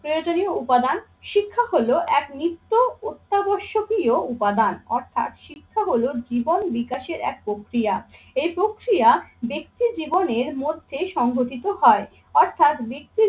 প্রয়োজনীয় উপাদান শিক্ষা হলো এক নিত্য অত্যাবশ্যকীয় উপাদান অর্থাৎ শিক্ষা হলো জীবন বিকাশের এক প্রক্রিয়া। এই প্রক্রিয়া জীবনের মধ্যে সংঘটিত হয় অর্থাৎ ব্যক্তির